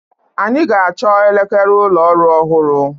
Anyị ga-achọ elekere ụlọ ọrụ ọhụrụ.